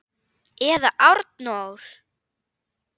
Eða Arnór!